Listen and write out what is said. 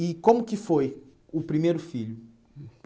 E como que foi o primeiro filho?